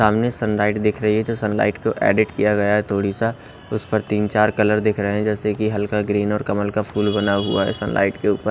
सामने sun light दिख रही है जो सन लाइट को एडिट किया गया है थोड़ी सा उस पर तीन चार कलर देख रहे हैं जैसे कि हल्का ग्रीन और कमल का फूल बना हुआ है सन लाइट के ऊपर--